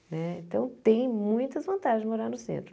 Né então, tem muitas vantagens morar no centro.